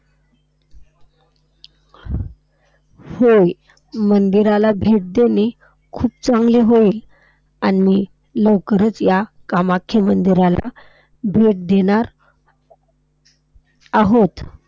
होय. मंदिराला भेट देणे खूप चांगले होईल. आम्ही लवकरच ह्या कामाख्या मंदिराला भेट देणार आहोत.